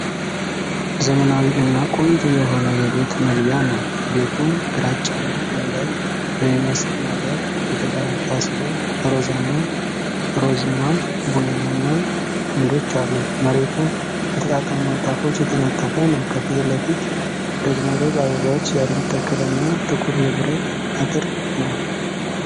ዘመናዊ እና ቆንጆ የሆነ የቤት መግቢያ ነው። ቤቱ ግራጫማ ድንጋይ በሚመስል ነገር የተገነባ ሲሆን ሮዝማ (ሮዝማ ቡናማ) አምዶች አሉት። መሬቱ በተጣጣሙ ንጣፎች የተነጠፈ ነው። ከፊት ለፊት ደግሞ ሮዝ አበባዎች ያሉት ተክል እና ጥቁር የብረት አጥር ነው።